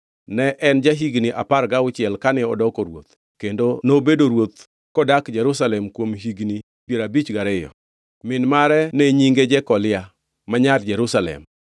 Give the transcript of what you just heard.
Ne en ja-higni apar gauchiel kane odoko ruoth, kendo nobedo ruoth kodak Jerusalem kuom higni piero abich gariyo. Min mare ne nyinge Jekolia, ma nyar Jerusalem.